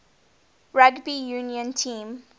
rugby union team